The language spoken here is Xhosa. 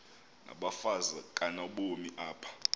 nabafazi kanobomi apha